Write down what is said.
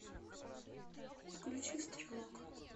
включи стрелок